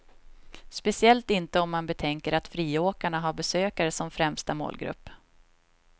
Speciellt inte om man betänker att friåkarna har besökare som främsta målgrupp.